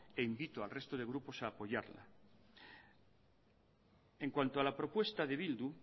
e invito al resto de grupos en cuanto a la propuesta de bildu